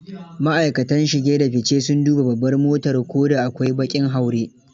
Ma'aikatan shige da fice sun duba babbar motar ko da akwai baƙin haure.